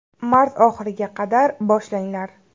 Mart oxiriga qadar boshlanglar.